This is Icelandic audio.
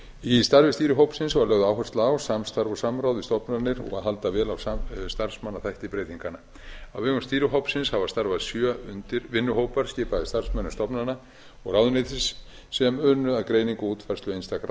í starfi stýrihópsins var lögð áhersla á samstarf og samráð við stofnanir og halda vel á starfsmannaþætti breytinganna á vegum stýrihópsins hafa starfað sjö vinnuhópar skipaðir starfsmönnum stofnana og ráðuneytis sem unnu að greiningu og útfærslu einstakra